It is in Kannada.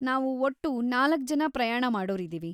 ನಾವು‌ ಒಟ್ಟು ನಾಲ್ಕ್ ಜನ ಪ್ರಯಾಣ ಮಾಡೋರಿದೀವಿ.